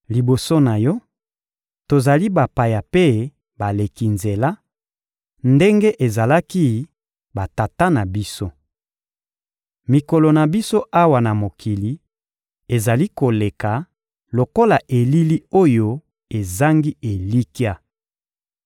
Liboso na Yo, tozali bapaya mpe baleki nzela, ndenge ezalaki batata na biso. Mikolo na biso awa na mokili ezali koleka lokola elili oyo ezangi elikya.